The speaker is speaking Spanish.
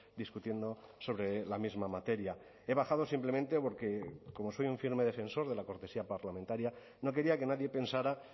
discutiendo sobre la misma materia he bajado simplemente porque como soy un firme defensor de la cortesía parlamentaria no quería que nadie pensara